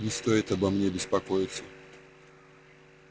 не стоит обо мне беспокоиться